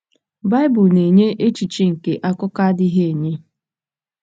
Baịbụl na-enye echiche nke akụkọ adịghị enye.